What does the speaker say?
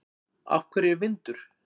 Af hverju er vindur?